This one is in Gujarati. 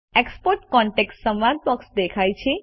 એક્સપોર્ટ કોન્ટેક્ટ્સ સંવાદ બોક્સ દેખાય છે